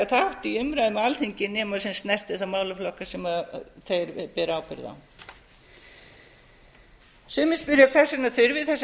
þátt í umræðum á alþingi nema sem snertir þá málaflokka sem þeir bera ábyrgð á sumir spyrja hvers vegna þurfi þessa